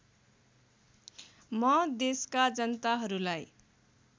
म देशका जनताहरूलाई